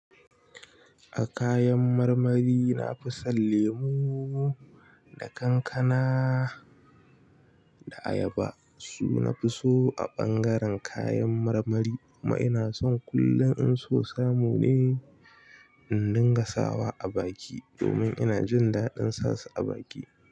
A kayan marmari, na fi son lemu da kankana da ayaba su. Na fi so a ɓangaren kayan marmari kuma ina son kullum in so samu ne in dinga sawa a baki domin ina jin daɗin sasu a baki.